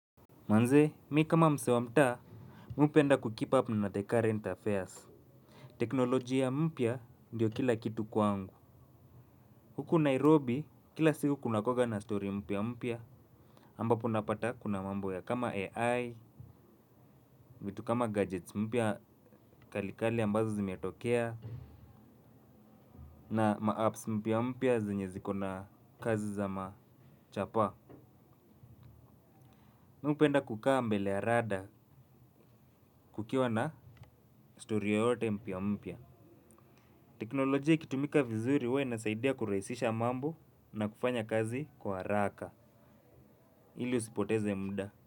Manze mi kama msee wa mtaa Mi hupenda kukeep up na the current affairs. Teknolojia ya mpya ndio kila kitu kwangu. Huku Nairobi kila siku kunakuaga na story mpya mpya ambapo unapata kuna mambo ya kama AI. Vitu kama gadgets mpya kalikali ambazo zimetokea na ma apps mpya mpya zenye ziko na kazi za machapaa Mi hupenda kukaa mbele ya radar kukiwa na story yoyote mpya mpya. Teknolojia ikitumika vizuri huwa inasaidia kurahisisha mambo na kufanya kazi kwa haraka ili usipoteze mda.